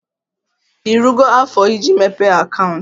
Irugo afo iji mepee akaụntụ?